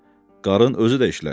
Qarın özü də işlədi.